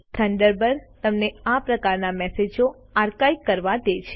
Thunderbird તમને આ પ્રકારના મેસેજો આર્કાઇવ કરવા દે છે